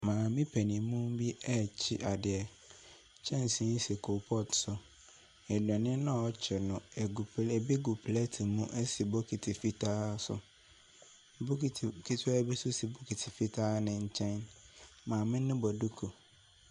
Maame paninmu bi rekye adeɛ. Kyɛnsee si coal pot so. Nnuane no a ɔrekye no egu ebi gu pleet mu si bikiti fitaa so. Bokiti ketewa bi nso si bokiti fitaa no nkyɛn. Maame no bɔ duku.